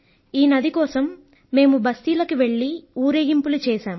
ఈ నది కోసం మేము బస్తీలకు వెళ్ళి ఊరేగింపులు చేశాం